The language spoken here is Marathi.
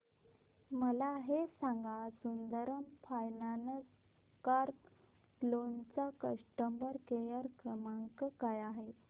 मला हे सांग सुंदरम फायनान्स कार लोन चा कस्टमर केअर क्रमांक काय आहे